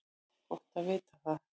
Gott að vita það